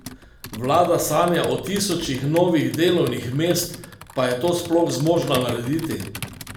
Vlada sanja o tisočih novih delovnih mest, pa je to sploh zmožna narediti?